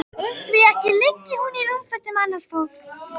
Því ekki liggi hún í rúmfötum annars fólks.